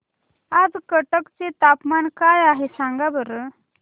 आज कटक चे तापमान काय आहे सांगा बरं